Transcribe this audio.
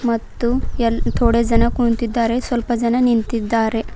ಮತ್ತು ಎ ತೊಡೆ ಜನ ಕುಂತಿದ್ದಾರೆ ಸ್ವಲ್ಪ ಜನ ನಿಂತಿದ್ದಾರೆ.